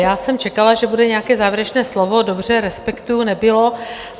Já jsem čekala, že bude nějaké závěrečné slovo, dobře, respektuji, nebylo.